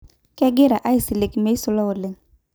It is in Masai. Kegira aisilig meisula oleng.